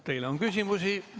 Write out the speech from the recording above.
Teile on küsimusi.